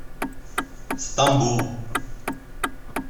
стамбул